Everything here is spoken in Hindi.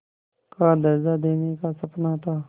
का दर्ज़ा देने का सपना था